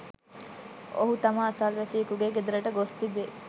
ඔහු තම අසල්වැසියෙකුගේ ගෙදරට ගොස් තිබේ.